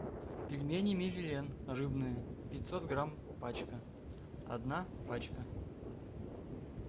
пельмени мерлен рыбные пятьсот грамм пачка одна пачка